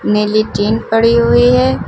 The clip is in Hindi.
नीली चेन पड़ी हुई है।